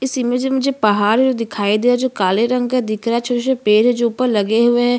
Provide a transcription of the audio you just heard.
इस इमेज मे मुझे पहाड़ है जो मुझे दिखाई दे रहे जो काले रंग के है दिख रहा है छोटे-छोटे पेड़ है जो ऊपर लगे हुए है।